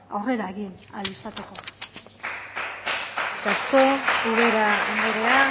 aurrera egin ahal